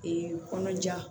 kɔnɔja